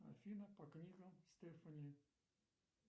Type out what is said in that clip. афина по книгам стефани